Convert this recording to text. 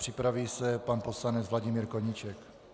Připraví se pan poslanec Vladimír Koníček.